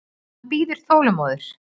Hann bíður þolinmóður.